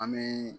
An bɛ